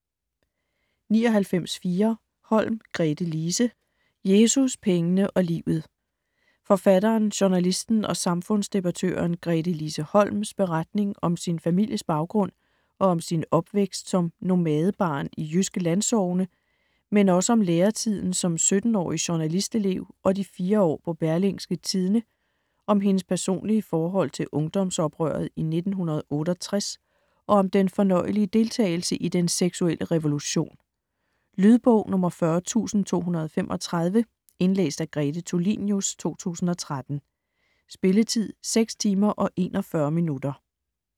99.4 Holm, Gretelise Holm, Gretelise: Jesus, pengene og livet Forfatteren, journalisten og samfundsdebattøren Gretelise Holms (f. 1946) beretning om sin families baggrund og om sin opvækst som nomadebarn i jyske landsogne, men også om læretiden som 17-årig journalistelev og de 4 år på Berlingske Tidende, om hendes personlige forhold til ungdomsoprøret i 1968 og om den fornøjelige deltagelse i den seksuelle revolution. Lydbog 40235 Indlæst af Grete Tulinius, 2013. Spilletid: 6 timer, 41 minutter.